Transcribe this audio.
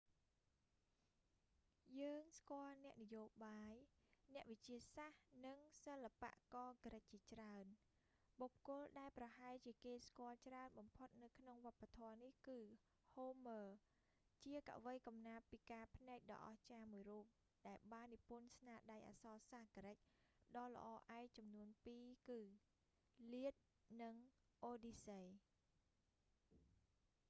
យើងស្គាល់អ្នកនយោបាយ អ្នកវិទ្យាសាស្ត្រ និងសិល្បករក្រិកជាច្រើន បុគ្គលដែលប្រហែលជាគេស្គាល់ច្រើនបំផុតនៅក្នុងវប្បធម៌នេះគឺ homer ហូមឺរ ជាកវីកំណាព្យពិការភ្នែកដ៏អស្ចារ្យមួយរូប ដែលបាននិពន្ធស្នាដៃអក្សរសាស្ត្រក្រិកដ៏ល្អឯកចំនួនពីគឺ iliad និង odyssey